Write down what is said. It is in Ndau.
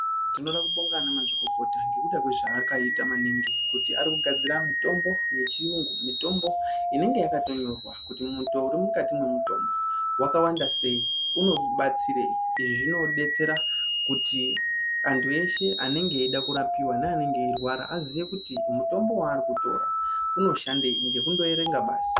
Tinoda kubonga ana mazvikokota ngekuda kwee zva akaita maningi kuti ari kugadzira mitombo ye chiyungu mitombo inenge yakato nyorwa kuti mutoo uri mukati mwe mutombo waka wanda sei unoku batsirei izvi zvino detsera kuti antu eshe anenge eida kurapiwa ne anenge eyi rwara aziye kuti mutombo waari kutora uno shandei ngekundo erenga basi.